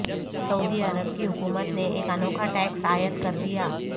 سعودی عرب کی حکومت نے ایک انوکھا ٹیکس عائد کردیا